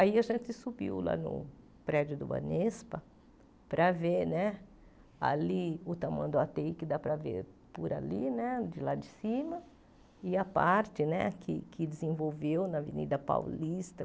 Aí a gente subiu lá no prédio do Anespa para ver né ali o tamanho do Atei, que dá para ver por ali né, de lá de cima, e a parte né que que desenvolveu na Avenida Paulista.